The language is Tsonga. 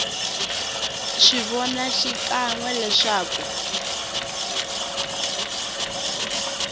swi vona xikan we leswaku